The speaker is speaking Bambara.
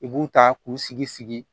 I b'u ta k'u sigi sigi sigi